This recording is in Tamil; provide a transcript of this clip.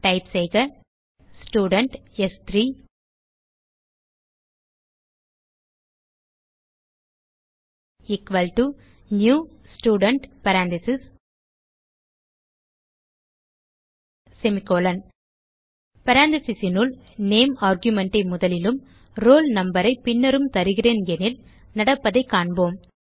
டைப் செய்க ஸ்டூடென்ட் s3 நியூ Student parenthesesனுள் நேம் argumentஐ முதலிலும் ரோல் numberஐ பின்னரும் தருகிறேன் எனில் நடப்பதைக் காண்போம்